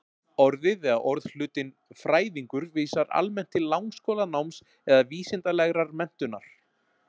Orðið eða orðhlutinn-fræðingur vísar almennt til langskólanáms eða vísindalegrar menntunar.